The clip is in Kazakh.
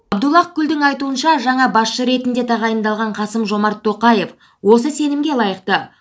абдуллах гүлдің айтуынша жаңа басшы ретінде тағайындалған қасым жомарт тоқаев осы сенімге лайықты